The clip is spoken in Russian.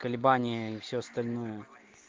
колебания и всё остальное